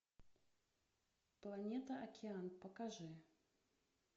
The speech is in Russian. планета океан покажи